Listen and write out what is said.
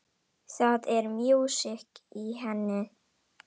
Það er músík í henni.